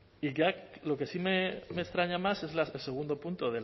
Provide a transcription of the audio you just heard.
y ya lo que sí me extraña más es el segundo punto